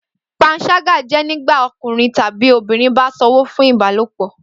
Panṣaga jẹ nigbati ọkunrin tabi obinrin ba sanwo fun ibalopo